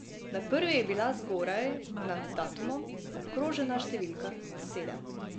Na prvi je bila zgoraj, nad datumom, obkrožena številka sedem.